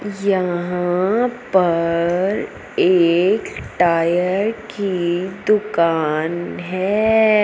यहां पर एक टायर की दुकान है।